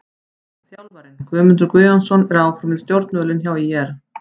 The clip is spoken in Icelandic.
Þjálfarinn: Guðmundur Guðjónsson er áfram við stjórnvölinn hjá ÍR.